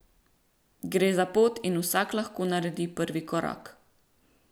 Gre za pot in vsak lahko naredi prvi korak.